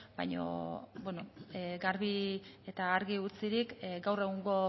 baina garbi eta argi utzirik gaur egungo